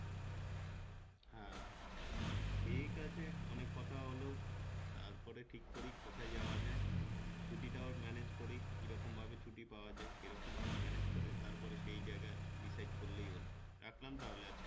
ঠিক আছে অনেক কথা হোল তারপরে ঠিক করি কোথায় যাওয়া যায় ছুটিটাও manage করি কিরকম ভাবে ছুটি পাওয়া যায় সেরকম ভাবে manage করে তারপরে সেই জায়গা decided করলেই হোল রাখলাম তাহলে আজকে